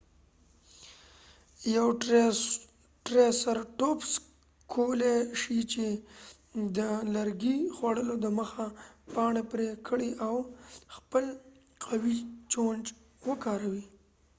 یو ټریسرټوپس کولی شي د لرګي خوړلو دمخه پاڼري پري کړي او خپل قوي چونچ وکاروي